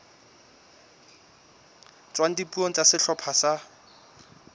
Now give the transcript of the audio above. tswang dipuong tsa sehlopha sa